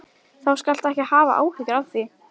Þú skalt ekki hafa áhyggjur af því.